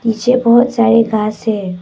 पीछे बहुत सारे घास है।